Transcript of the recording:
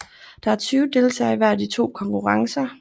Der er 20 deltagere i hver af de to konkurrencer